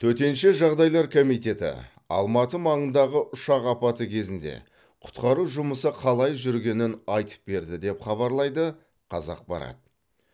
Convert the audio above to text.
төтенше жағдайлар комитеті алматы маңындағы ұшақ апаты кезінде құтқару жұмысы қалай жүргенін айтып берді деп хабарлайды қазақпарат